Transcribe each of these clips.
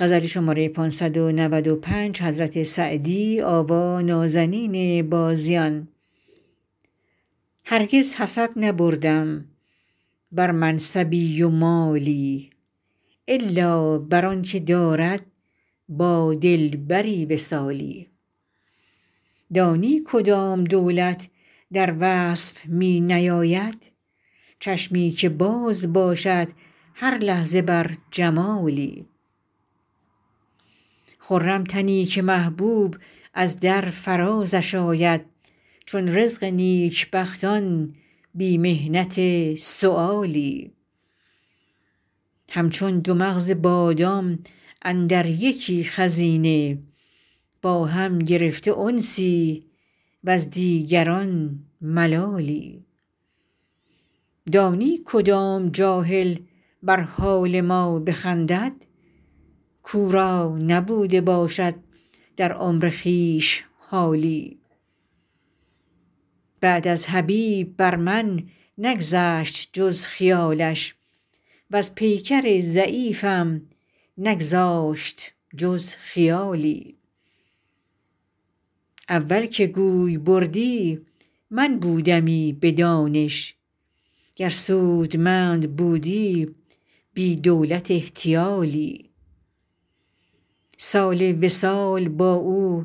هرگز حسد نبردم بر منصبی و مالی الا بر آن که دارد با دلبری وصالی دانی کدام دولت در وصف می نیاید چشمی که باز باشد هر لحظه بر جمالی خرم تنی که محبوب از در فرازش آید چون رزق نیکبختان بی محنت سؤالی همچون دو مغز بادام اندر یکی خزینه با هم گرفته انسی وز دیگران ملالی دانی کدام جاهل بر حال ما بخندد کاو را نبوده باشد در عمر خویش حالی بعد از حبیب بر من نگذشت جز خیالش وز پیکر ضعیفم نگذاشت جز خیالی اول که گوی بردی من بودمی به دانش گر سودمند بودی بی دولت احتیالی سال وصال با او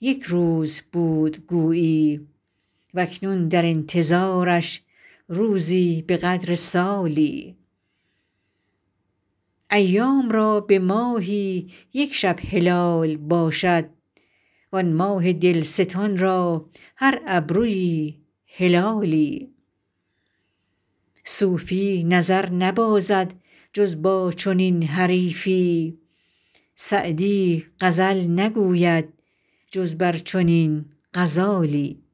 یک روز بود گویی و اکنون در انتظارش روزی به قدر سالی ایام را به ماهی یک شب هلال باشد وآن ماه دلستان را هر ابرویی هلالی صوفی نظر نبازد جز با چنین حریفی سعدی غزل نگوید جز بر چنین غزالی